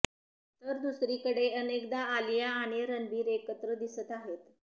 तर दुसरीकरडे अनेकदा आलिया आणि रणबीर एकत्र दिसत आहेत